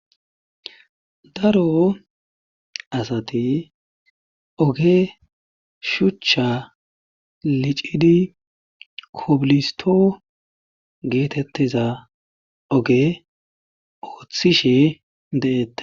Daro asati oge shuchcha licidi kobilisto geetettiza oge ooththishe de'ete